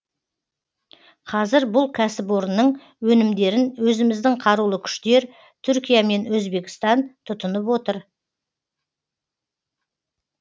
қазір бұл кәсіпорынның өнімдерін өзіміздің қарулы күштер түркия мен өзбекстан тұтынып отыр